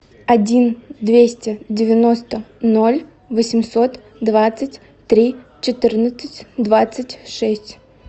один двести девяносто ноль восемьсот двадцать три четырнадцать двадцать шесть